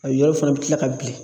A yɔrɔ fana bɛ kila ka bilen.